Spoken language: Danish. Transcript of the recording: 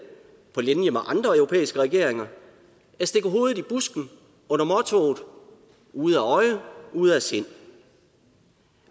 på linje med andre europæiske regeringer at stikke hovedet i busken under mottoet ude af øje ude af sind